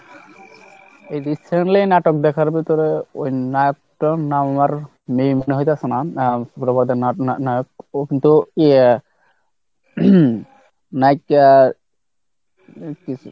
এই recently নাটক দেখার ভিতরে ওই নায়ক টার নাম আর নেই মনে মনে হইতাছে না ও কিন্তু ইয়া